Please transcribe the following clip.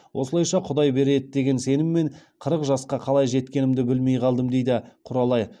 осылайша құдай береді деген сеніммен қырық жасқа қалай жеткенімді білмей қалдым дейді құралай